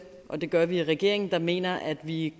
og det gør vi i regeringen der mener at vi